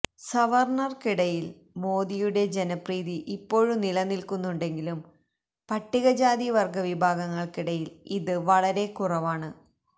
സവർണർക്കിടയിൽ മോദിയുടെ ജനപ്രീതി ഇപ്പോഴും നിലനിൽക്കുന്നുണ്ടെങ്കിലും പട്ടിക ജാതി വർഗ വിഭാഗങ്ങൾക്കിടയിൽ ഇത് വളരെ കുറവാണ്